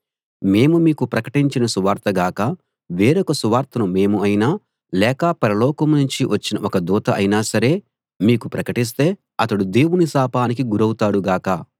మేము మీకు ప్రకటించిన సువార్త గాక వేరొక సువార్తను మేము అయినా లేక పరలోకం నుంచి వచ్చిన ఒక దూత అయినా సరే మీకు ప్రకటిస్తే అతడు దేవుని శాపానికి గురౌతాడు గాక